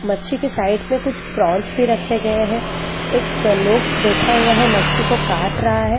मच्छी के साइड में कुछ प्रॉन्स भी रखे गए हैं एक लोग बैठा हुआ है मच्छी को काट रहा है।